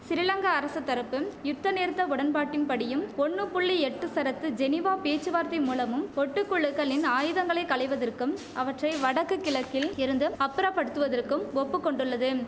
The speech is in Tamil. சிறிலங்கா அரசு தரப்பு யுத்தநிறுத்த உடன்பாட்டின் படியும் ஒன்னு புள்ளி எட்டு சரத்து ஜெனீவா பேச்சுவார்த்தை மூலமும் ஒட்டு குழுக்களின் ஆயுதங்களை களைவதற்கும் அவற்றை வடக்கு கிழக்கில் இருந்து அப்புறப்படுத்துவதற்கு ஒப்புக்கொண்டுள்ளதும்